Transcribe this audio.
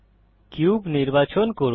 cube নির্বাচন করুন